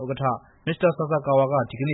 ဥက္ကဋ္ဌ မစ္စတာဆာဆာကာဝါက ဒီကနေ